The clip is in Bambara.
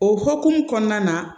O hukumu kɔnɔna na